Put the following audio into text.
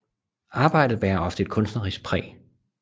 Arbejdet bærer ofte et kunstnerisk præg